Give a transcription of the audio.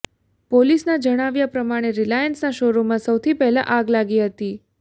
પોલીસના જણાવ્યા પ્રમાણે રિલાયન્સના શોરૂમમાં સૌથી પહેલાં આગ લાગી હતી